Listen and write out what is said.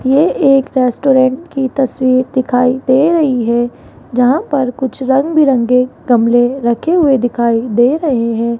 यह एक रेस्टोरेंट की तस्वीर दिखाई दे रही है जहां पर कुछ रंग बिरंगे गमले रखे हुए दिखाई दे रहे हैं।